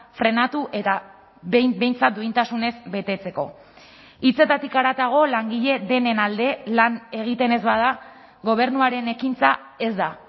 frenatu eta behin behintzat duintasunez betetzeko hitzetatik haratago langile denen alde lan egiten ez bada gobernuaren ekintza ez da